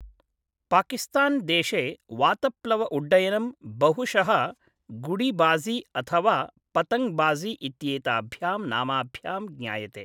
पाकिस्तान् देशे वातप्लव उड्डयनं बहुशः गुडि बाज़ि अथवा पतङ्ग् बाज़ि इत्येताभ्यां नामभ्यां ज्ञायते।